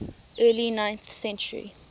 early ninth century